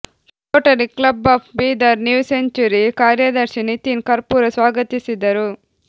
Rotary club of Bidar new century ಕಾರ್ಯದರ್ಶಿ ನಿತಿನ್ ಕರ್ಪೂರ ಸ್ವಾಗತಿಸಿದರು